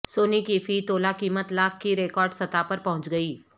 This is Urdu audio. سونے کی فی تولہ قیمت لاکھ کی ریکارڈ سطح پر پہنچ گئی